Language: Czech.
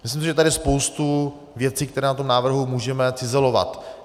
Myslím si, že je tady spousta věcí, které na tom návrhu můžeme cizelovat.